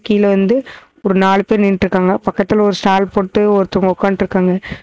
இதுல வந்து ஒரு நாலு பெர் நிட்டுருக்காங்க பக்கத்துல ஒரு ஸ்டால் போட்டு ஒருத்தர் உக்காந்துட் இருகாங்க.